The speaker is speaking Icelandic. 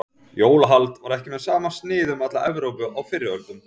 Jólahald var ekki með sama sniði um alla Evrópu á fyrri öldum.